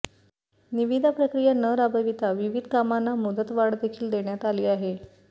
निविदा प्रक्रिया न राबविता विविध कामांना मुदतवाढ देखील देण्यात आली आहे